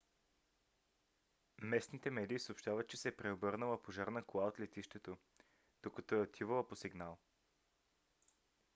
местните медии съобщават че се е преобърнала пожарна кола от летището докато е отивала по сигнал